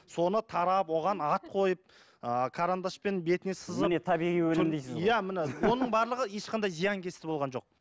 соны тарап оған ат қойып ыыы карандашпен бетіне сызып міне табиғи өнім дейсіз ғой иә міне оның барлығы ешқандай зиянкесті болған жоқ